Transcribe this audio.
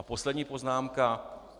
A poslední poznámka.